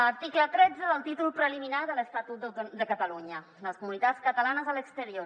article tretze del títol preliminar de l’estatut de catalunya les comunitats catalanes a l’exterior